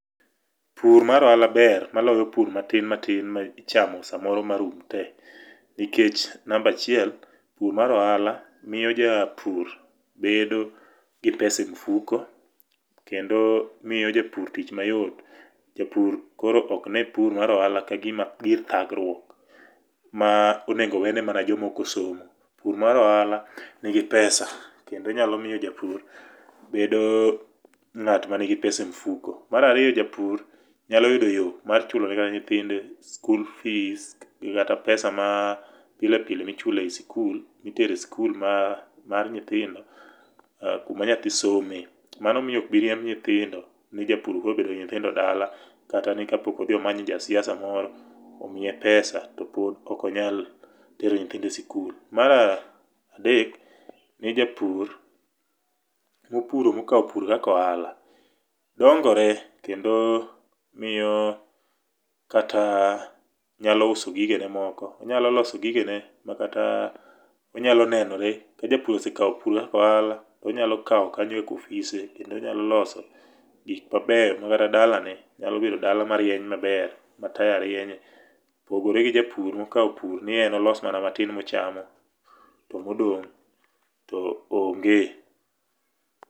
Pur mar ohala ber maloyo pur matin matin ma ichamo samoro marum te nikech namba achiel, pur mar ohala miyo japur bedo gi pesa e mfuko kendo miyo japur tich mayot. Japur koro ok ne tich mar ohala ka gima gir thagruok ma onego wene mana jok mok osomo. Pur mar ohala nigi pesa kendo nyalo miyo japur bedo ng'at manigi pesa e mfuko. Mar ariyo japur nyalo yudo yo mar chulo ni kata nyithindo school fees kata pesa mapile pile michulo e skul, mitere skul mar nyithindo kuma nyathi some. Mano miyo ok biriemb nyithindo ni japur koro obedo gi nyithindo dala kata ni kapok odhi manyo jasiasa moro omiye pesa to pod ok onyal tero nyithinde sikul. Mar adek ne japur mopuro, mokawo pur kaka ohala dongore kendo miyo kata nyalo uso gigene moko. Onyalo loso gigene makata onyalo nenore. Ka japur osekawo pur kaka ohala, onyalo kawo kanyo kaka ofise kendo onyalo loso gik mabeyo ma kata dalane nyalo bedo dala marieny maber mataya rienye, kopogore gi japur mokawo pur ni en olos mana matin mochamo to modong' to onge.